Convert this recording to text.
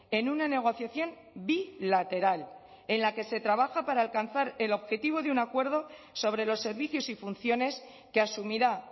en una negociación bilateral en la que se trabaja para alcanzar el objetivo de un acuerdo sobre los servicios y funciones que asumirá